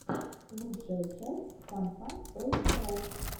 лучшая часть фан фан той шоу